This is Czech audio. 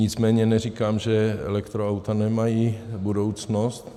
Nicméně neříkám, že elektroauta nemají budoucnost.